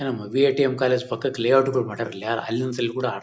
ನನ್ನ ಮದು ATM college ಪಕ್ಕಕ ಲೇಔಟ್ ಗಳ್ ಮಾಡ್ಯಾರ್ ಅಲ್ಲಿಅಲ್ಲಿ ಒಂದ್ ಸಲಿ ಕೂಡ ಆಡ್ ತಾರ್--